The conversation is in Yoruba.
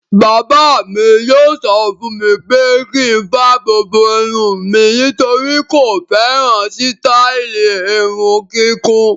Bàbá mi yóò sọ fún mi pé kí n fa gbogbo irun mi nítorí kò fẹ́ràn sítáálì irun kíkún.